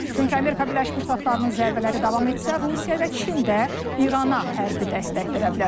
Çünki Amerika Birləşmiş Ştatlarının zərbələri davam etsə, Rusiya və Çin də İrana hərbi dəstək verə bilər.